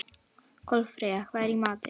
Kolfreyja, hvað er í matinn?